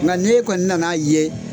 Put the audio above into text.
Nka n'e kɔni nan'a ye.